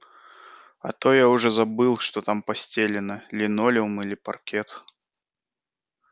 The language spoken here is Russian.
а то я уже и забыл что там постелено линолеум или паркет